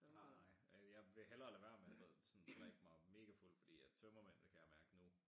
Nej jeg vil hellere lade være med at sådan drikke mig mega fuld fordi at tømmermændene kan jeg mærke nu